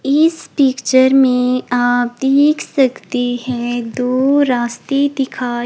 इस पिक्चर में आप देख सकते हैं दो रास्ते दिखाई--